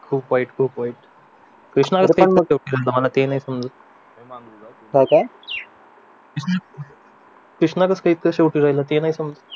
खूप वाईट खूप वाईट कृष्णा शेवटी गेला ते नाही समजला